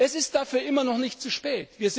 Es ist dafür immer noch nicht zu spät.